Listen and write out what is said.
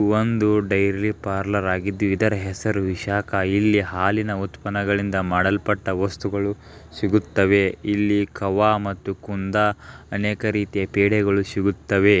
ಒಂದು dairy parlour ಆಗಿದ್ದು ಇದರ ಹೆಸರು ವಿಶಾಖ ಇಲ್ಲಿ ಹಾಲಿನ ಉತ್ಪನ್ನಗಳಿಂದ ಮಾಡಲ್ಪಟ್ಟ ವಸ್ತುಗಳು ಸಿಗುತ್ತವೆ ಇಲ್ಲಿ ಕವಾ ಮತ್ತು ಕುಂದಾ ಅನೇಕ ರೀತಿಯ ಪೇಡೆಗಳು ಸಿಗುತ್ತವೆ.